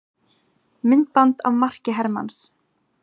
Myndband af marki Hermanns